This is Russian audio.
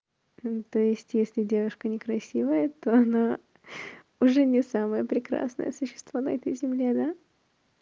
то есть если девушка некрасивая то она уже не самое прекрасное существо на этой земле да